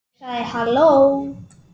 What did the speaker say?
Ég sagði: Halló?